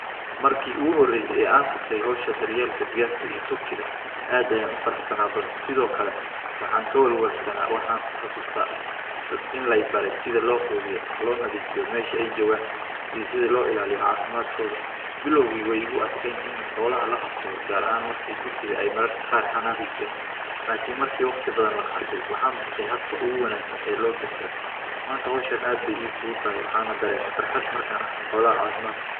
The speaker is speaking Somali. Markii ugu horraysay ayaa aan qabtay hawsha daryeelka digaagta iyo Turkey ga aad ayaan u faraxsanaa balse sidoo kale waxaan ka welwelsanaa, waxaan xasuusta in lay baraysida loo quudiyo, loo nadiifiyo meesha ay jogaan iyo sidii loo ilaaliyo caafimaadkooda. Bilowgii way igu adkayn in xoolaha la qabsado gaar ahaan markii Turkey ga ay mararka qaada xanaakhi jireen. Laakiin markii waqti badan la qaatay waxaan bartay habka ugu wehelsan ee loo daryeelo. Maanta hawshen aad bay iig u daay waxaanu dareema farxad markaan arko xoolaha caafimaadka.